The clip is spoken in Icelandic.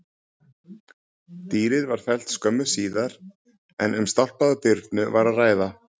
Dýrið var fellt skömmu síðar en um stálpaða birnu var að ræða.